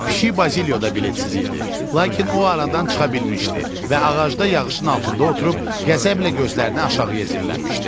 Pişik Bazilyoda biletsiz idi, lakin o aradan çıxa bilmişdi və ağacda yağışın altında oturub qəzəblə gözlərini aşağı əyirmişdi.